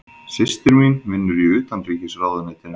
Systir mín vinnur í Utanríkisráðuneytinu.